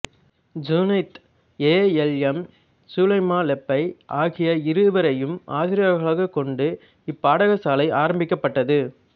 Junaid A L M Sulaimalebbai ஆகிய இருவரையும் ஆசிரியர்களாகக் கொண்டு இப்பாடசாலை ஆரம்பிக்கப்பட்டது